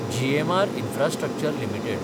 GMR infrastructure limited